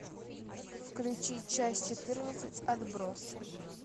включи часть четырнадцать отбросы